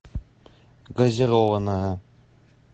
газированная